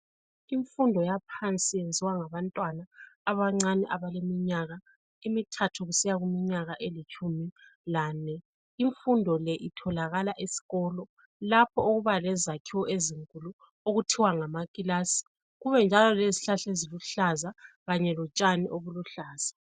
Imfundo yaphansi yenziwa ngabantwana abancane abaleminyaka emithathu kusiya kuminyaka elitshumi lane. Imfundo le itholakala esikolo lapho okuba lezakhiwo ezinkulu okuthiwa ngamakilasi, kube njalo lezihlahla kanye eziluhlaza lotshani obuluhlaza.